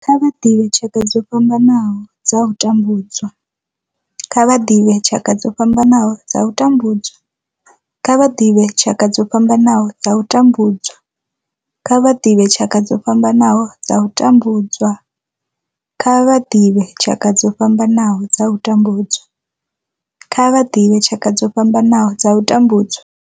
Kha vha ḓivhe tshaka dzo fhambanaho dza u tambudzwa. Kha vha ḓivhe tshaka dzo fhambanaho dza u tambudzwa. Kha vha ḓivhe tshaka dzo fhambanaho dza u tambudzwa. Kha vha ḓivhe tshaka dzo fhambanaho dza u tambudzwa. Kha vha ḓivhe tshaka dzo fhambanaho dza u tambudzwa. Kha vha ḓivhe tshaka dzo fhambanaho dza u tambudzwa.